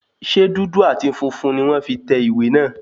Ṣe dúdú àti funfun ní wọ́n fi tẹ ìwé náà?